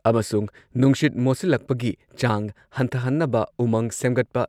ꯑꯃꯁꯨꯡ ꯅꯨꯡꯁꯤꯠ ꯃꯣꯠꯁꯤꯜꯂꯛꯄꯒꯤ ꯆꯥꯡ ꯍꯟꯊꯍꯟꯅꯕ ꯎꯃꯪ ꯁꯦꯝꯒꯠꯄ,